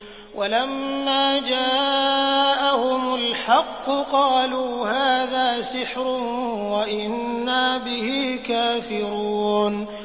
وَلَمَّا جَاءَهُمُ الْحَقُّ قَالُوا هَٰذَا سِحْرٌ وَإِنَّا بِهِ كَافِرُونَ